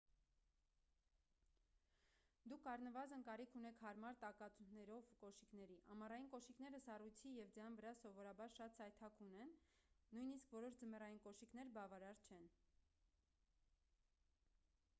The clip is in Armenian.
դուք առնվազն կարիք ունեք հարմար տակացուներով կոշիկների ամառային կոշիկները սառույցի և ձյան վրա սովորաբար շատ սայթաքուն են նույնիսկ որոշ ձմեռային կոշիկներ բավարար չեն